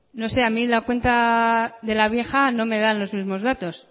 no sé a mí la cuenta de la vieja no me dan los mismos datos